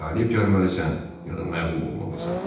Ya qalib gəlməlisən, ya da məğlub olmalısan.